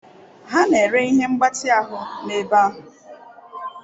Ha na-ere ihe mgbatị ahụ n'ebe ahụ.